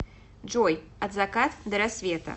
джой от закат до рассвета